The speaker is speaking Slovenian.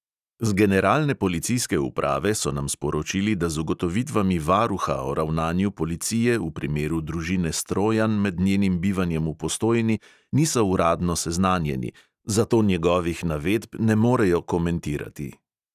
Z generalne policijske uprave so nam sporočili, da z ugotovitvami varuha o ravnanju policije v primeru družine strojan med njenim bivanjem v postojni niso uradno seznanjeni, zato njegovih navedb ne morejo komentirati.